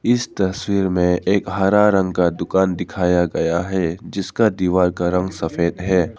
इस तस्वीर में मुझे एक हरा रंग का दुकान दिखाया गया है जिसका दीवार का रंग सफेद है।